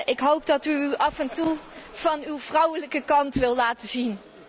Ik hoop dat u zich af en toe van uw vrouwelijke kant wil laten zien.